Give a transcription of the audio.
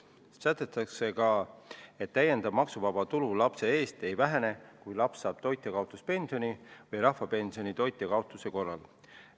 Ühtlasi sätestatakse, et täiendav maksuvaba tulu lapse eest ei vähene, kui laps saab toitjakaotuspensioni või rahvapensioni toitja kaotuse korral.